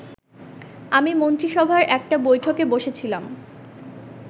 আমি মন্ত্রিসভার একটা বৈঠকে বসেছিলাম